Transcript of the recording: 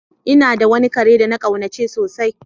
N'na da wani kare de na kaunace sosai.